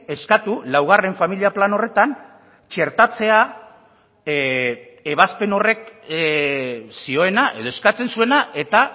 eskatu laugarren familia plan horretan txertatzea ebazpen horrek zioena edo eskatzen zuena eta